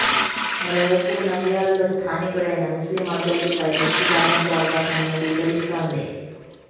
మరోవైపు నంద్యాలలో స్థానికుడైన ముస్లిం అభ్యర్థిపై దృష్టి సారించే అవకాశం ఉన్నట్లు తెలుస్తోంది